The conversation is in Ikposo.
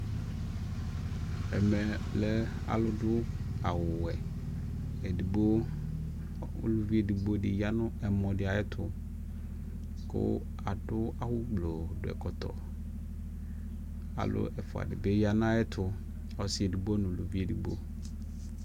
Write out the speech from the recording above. ɛmɛ lɛ alʋ dʋ awʋ wɛ, ɛdigbɔ, ʋlʋvi ɛdigbɔ di yanʋ ɛmɔ di ayɛtʋ kʋ adʋ awʋ blɔ dʋɛkɔtɔ, alʋ ɛƒʋa dibi yanʋ ayɛtʋ, ɔsii ɛdigbɔ nʋ ʋlʋvi ɛdigbɔ